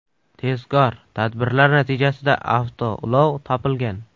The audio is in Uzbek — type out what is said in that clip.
Tezkor tadbirlar natijasida avtoulov topilgan.